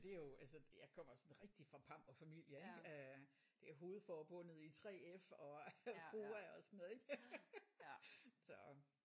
Men men det er jo altså jeg kommer sådan rigtig fra en pamperfamilie ik? Det er hovedforbundet i 3F og FOA og sådan noget ik?